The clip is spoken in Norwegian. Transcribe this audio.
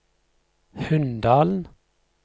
Hunndalen